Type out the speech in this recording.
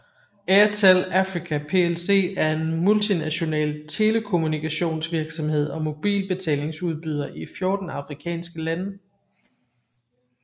Airtel Africa plc er en multinational telekommunikationsvirksomhed og mobilbetalingsudbyder i 14 afrikanske lande